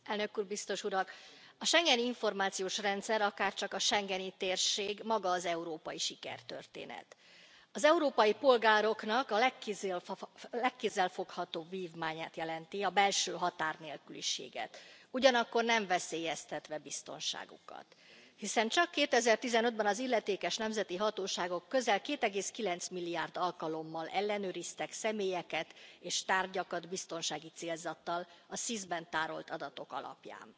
Tisztelt Elnök Úr! A Schengeni Információs Rendszer, akárcsak a schengeni térség, maga az európai sikertörténet. Az európai polgároknak a legkézzelfoghatóbb vívmányát jelenti, a belső határnélküliséget, ugyanakkor nem veszélyeztetve biztonságukat. Hiszen csak 2015 ben az illetékes nemzeti hatóságok közel 2,9 milliárd alkalommal ellenőriztek személyeket és tárgyakat biztonsági célzattal a SIS ben tárolt adatok alapján.